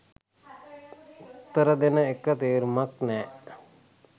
උත්තර දෙන එක තේරුමක් නැහැ.